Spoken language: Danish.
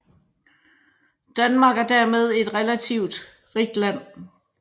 Danmark er dermed et relativt rigt land